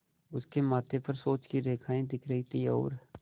उसके माथे पर सोच की रेखाएँ दिख रही थीं और